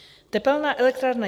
Tepelná elektrárna